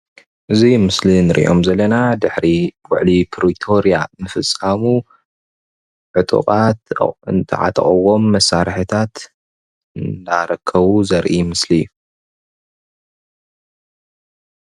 እዚ ኣብ ምስሊ እንሪኦም ዘለና ድሕሪ ውዕሊ ፕሪቶርያ ዝፍፀሙ ዕጡቓት ዝተዓጠቑዎም መሳርሕታት እንዳረከቡ ዘርኢ ምስሊ እዩ፡፡